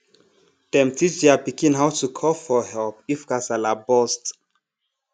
dem teach their pikin how to call for help if kasala burst